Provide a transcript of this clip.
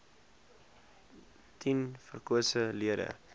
tien verkose lede